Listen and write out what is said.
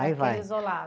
Aí vai.